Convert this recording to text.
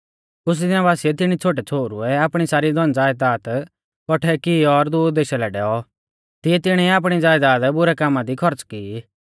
कुछ़ दिना बासिऐ तिणी छ़ोटै छ़ोहरुऐ आपणी सारी धनज़यदाद कौठै की और दूर देशा लै डैऔ तिऐ तिणीऐ आपणी ज़यदाद बुरै कामा दी खौर्च़ की